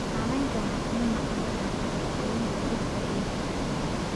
Saamaynta waxaa ka mid noqon kara dabar goynta dhirta iyo duurjoogta.